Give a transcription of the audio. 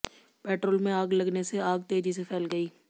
petrol में आग लगने से आग तेजी से फ़ैल गयी